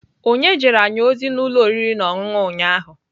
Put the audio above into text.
Onye jere anyị ozi n'ụlọ oriri na ọṅụṅụ ụnyahụ?